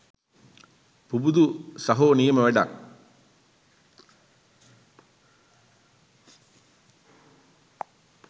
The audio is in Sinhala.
පුබුදු සහෝ නියම වැඩක්.